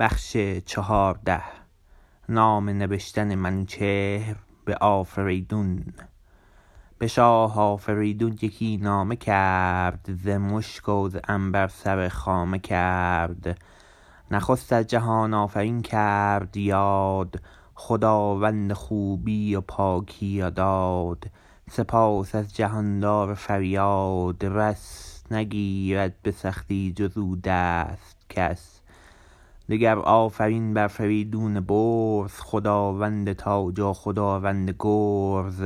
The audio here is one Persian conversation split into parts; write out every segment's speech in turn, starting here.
به شاه آفریدون یکی نامه کرد ز مشک و ز عنبر سر خامه کرد نخست از جهان آفرین کرد یاد خداوند خوبی و پاکی و داد سپاس از جهاندار فریادرس نگیرد به سختی جز او دست کس دگر آفرین بر فریدون برز خداوند تاج و خداوند گرز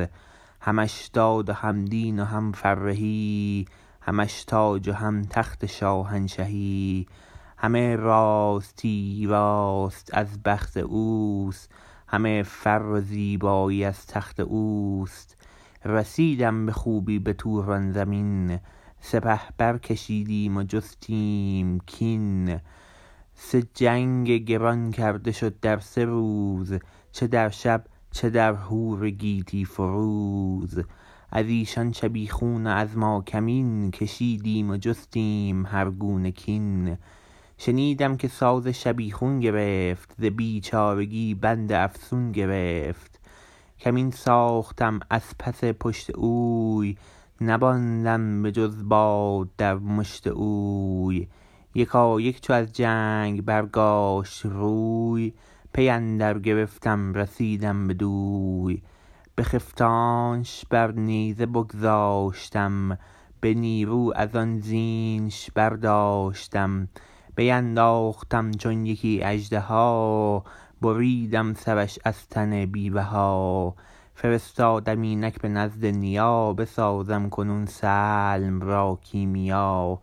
همش داد و هم دین و هم فرهی همش تاج و هم تخت شاهنشهی همه راستی راست از بخت اوست همه فر و زیبایی از تخت اوست رسیدم به خوبی بتوران زمین سپه برکشیدیم و جستیم کین سه جنگ گران کرده شد در سه روز چه در شب چه در هور گیتی فروز از ایشان شبیخون و از ماکمین کشیدیم و جستیم هر گونه کین شنیدم که ساز شبیخون گرفت ز بیچارگی بند افسون گرفت کمین ساختم از پس پشت اوی نماندم به جز باد در مشت اوی یکایک چو از جنگ برگاشت روی پی اندر گرفتم رسیدم بدوی بخفتانش بر نیزه بگذاشتم به نیرو ازان زینش برداشتم بینداختم چون یکی اژدها بریدم سرش از تن بی بها فرستادم اینک به نزد نیا بسازم کنون سلم را کیمیا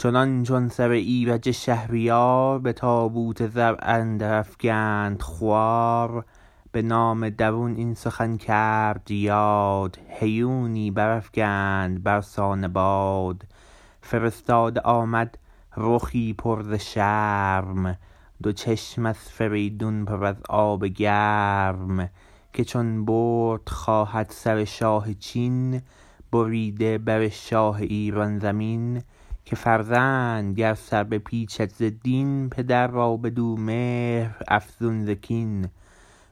چنان چون سر ایرج شهریار به تابوت زر اندر افگند خوار به نامه درون این سخن کرد یاد هیونی برافگند برسان باد فرستاده آمد رخی پر ز شرم دو چشم از فریدون پر از آب گرم که چون برد خواهد سر شاه چین بریده بر شاه ایران زمین که فرزند گر سر بپیچید ز دین پدر را بدو مهر افزون ز کین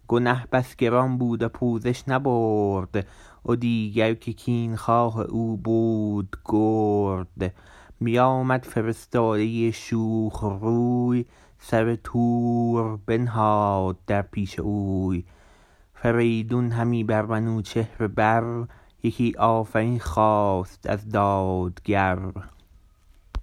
گنه بس گران بود و پوزش نبرد و دیگر که کین خواه او بود گرد بیامد فرستاده شوخ روی سر تور بنهاد در پیش اوی فریدون همی بر منوچهر بر یکی آفرین خواست از دادگر